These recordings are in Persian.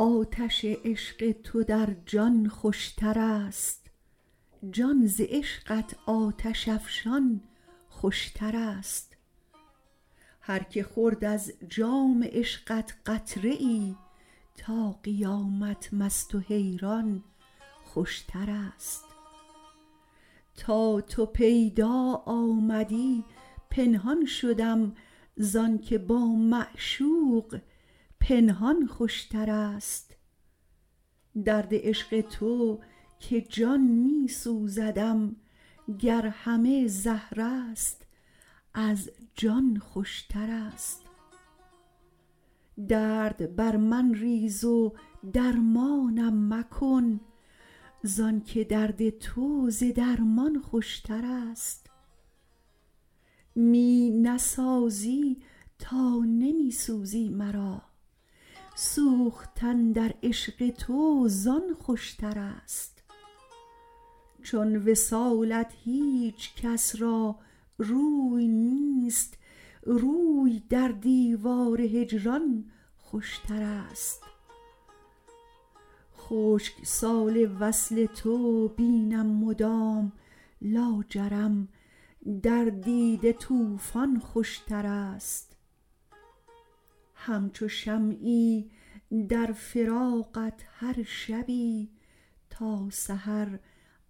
آتش عشق تو در جان خوشتر است جان ز عشقت آتش افشان خوشتر است هر که خورد از جام عشقت قطره ای تا قیامت مست و حیران خوشتر است تا تو پیدا آمدی پنهان شدم زانکه با معشوق پنهان خوشتر است درد عشق تو که جان می سوزدم گر همه زهر است از جان خوشتر است درد بر من ریز و درمانم مکن زانکه درد تو ز درمان خوشتر است می نسازی تا نمی سوزی مرا سوختن در عشق تو زان خوشتر است چون وصالت هیچکس را روی نیست روی در دیوار هجران خوشتر است خشک سال وصل تو بینم مدام لاجرم در دیده طوفان خوشتر است همچو شمعی در فراقت هر شبی تا سحر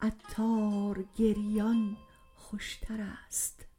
عطار گریان خوشتر است